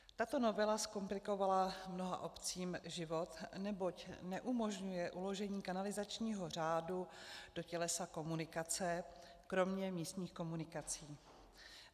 Tato novela zkomplikovala mnoha obcím život, neboť neumožňuje uložení kanalizačního řádu do tělesa komunikace kromě místních komunikací.